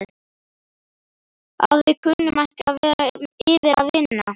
Að við kunnum ekki að vera yfir eða vinna?